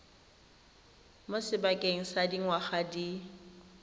mo sebakeng sa dingwaga di